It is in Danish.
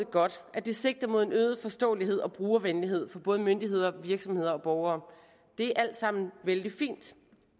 godt at det sigter mod en øget forståelighed og brugervenlighed for både myndigheder virksomheder og borgere det er alt sammen vældig fint